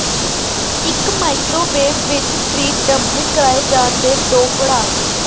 ਇੱਕ ਮਾਈਕ੍ਰੋਵੇਵ ਵਿੱਚ fried dumpling ਕਰਾਏ ਜਾਣ ਦੇ ਦੋ ਪੜਾਅ